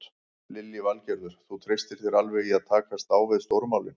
Lillý Valgerður: Þú treystir þér alveg í að takast á við stóru málin?